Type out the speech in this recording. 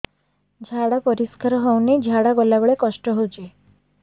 ଝାଡା ପରିସ୍କାର ହେଉନି ଝାଡ଼ା ଗଲା ବେଳେ କଷ୍ଟ ହେଉଚି